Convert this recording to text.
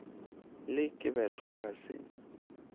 le ke betlwa ga se